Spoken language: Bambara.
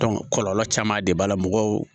kɔlɔlɔ caman de b'a la mɔgɔw